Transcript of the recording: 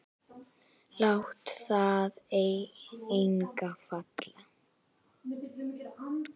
Lát þar enga falla.